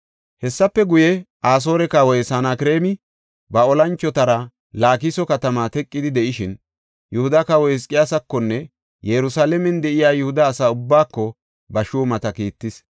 Hessafe guye, Asoore kawoy Sanakreemi ba olanchotara Laakiso katamaa teqidi de7ishin, Yihuda kawa Hizqiyaasakonne Yerusalaamen de7iya Yihuda asaa ubbaako ba shuumata kiittis.